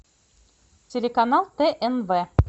телеканал тнв